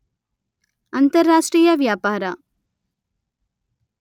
ಅಂತಾರಾಷ್ಟ್ರೀಯ ವ್ಯಾಪಾರ